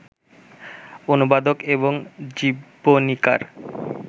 অনুবাদক এবং জীবনীকার